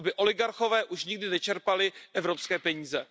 Aby oligarchové už nikdy nečerpali evropské peníze.